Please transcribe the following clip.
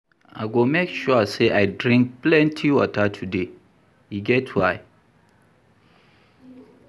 I go make sure sey I drink plenty water today, e get why.